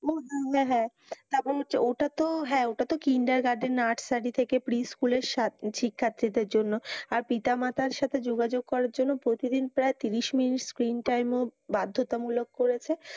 ও হাঁ হাঁ তারপর হচ্ছে ওটাতো হ্যাঁ ওটাতো কিন্ডার গার্ডেন নার্সারী থেকে pre-school এর শিক্ষার্থীদের জন্য আর পিতা মাতার সাথে যোগাযোগ করার জন্য প্রতিদিন প্রায় তিরিশ মিনিট screen time ও বাধ্যতা মূলক করেছে।